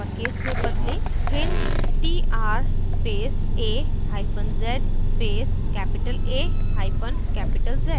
hint: tr space a hyphen z space capital a hyphen capital z